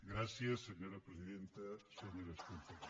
gràcies senyora presidenta senyores i senyors